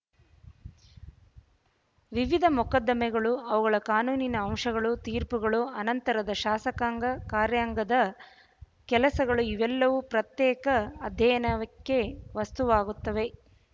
ವಿವಿಧ ಮೊಕದ್ದಮೆಗಳು ಅವುಗಳ ಕಾನೂನಿನ ಅಂಶಗಳು ತೀರ್ಪುಗಳು ಅನಂತರದ ಶಾಸಕಾಂಗ ಕಾರ್ಯಾಂಗದ ಕೆಲಸಗಳು ಇವೆಲ್ಲವೂ ಪ್ರತ್ಯೇಕ ಅಧ್ಯಯನಕ್ಕೆ ವಸ್ತುವಾಗುತ್ತವೆ